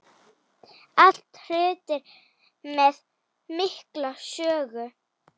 Allt hlutir með mikla sögu.